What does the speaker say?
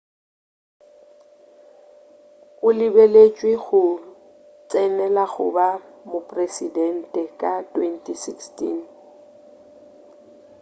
o lebeletšwe go tsenela go ba mopresedente ka 2016